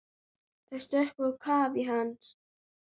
Þær sökkva á kaf í hans.